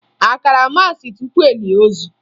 A kara maasị tupu e lie ozu?